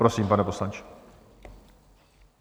Prosím, pane poslanče.